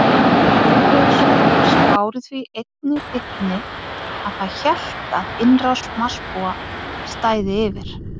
Viðbrögð fólks báru því einnig vitni að það hélt að innrás Marsbúa stæði yfir.